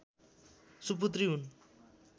सुपुत्री हुन्